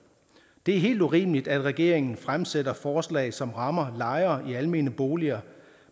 det er helt urimeligt at regeringen fremsætter forslag som rammer lejere i almene boliger